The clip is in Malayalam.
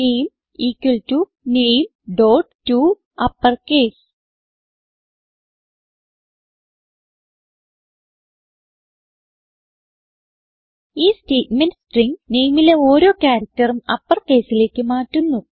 നാമെ ഇക്വൽ ടോ nametoUpperCase ഈ സ്റ്റേറ്റ്മെന്റ് സ്ട്രിംഗ് nameലെ ഓരോ characterഉം uppercaseലേക്ക് മാറ്റുന്നു